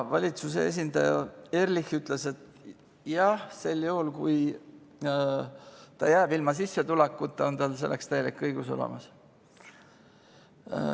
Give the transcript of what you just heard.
Valitsuse esindaja Ehrlich ütles, et sel juhul, kui ta jääb ilma sissetulekuta, on tal selleks täielik õigus olemas.